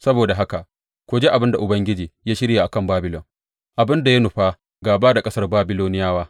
Saboda haka, ku ji abin da Ubangiji ya shirya a kan Babilon, abin da ya nufa gāba da ƙasar Babiloniyawa.